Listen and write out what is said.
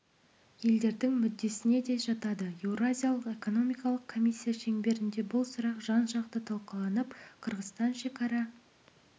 елдердің мүддесіне де жатады еуразиялық экономикалық комиссия шеңберінде бұл сұрақ жан жақты талқыланып қырғызстан шекара